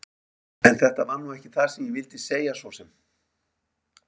En þetta var nú ekki það sem ég vildi segja svo sem.